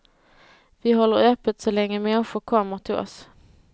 Vi håller öppet så länge människor kommer till oss.